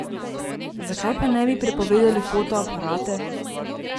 Zakaj pa ne bi prepovedali fotoaparate?